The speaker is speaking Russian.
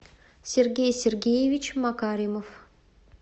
сергей сергеевич макаримов